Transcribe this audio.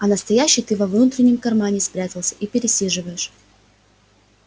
а настоящий ты во внутреннем кармане спрятался и пересиживаешь